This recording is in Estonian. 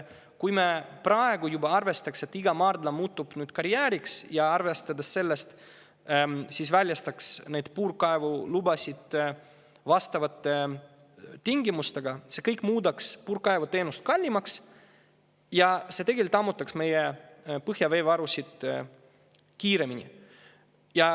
Kui me juba praegu arvestaksime, et iga maardla muutub karjääriks, ja selle arvestusega väljastaksime puurkaevulubasid vastavate tingimustega, siis see kõik muudaks puurkaevuteenuse kallimaks ja tegelikult meie põhjaveevarusid kiiremini.